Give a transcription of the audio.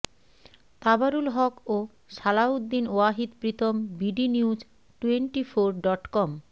তাবারুল হক ও Salauddin Wahid Pritom bdnews twenty four dot com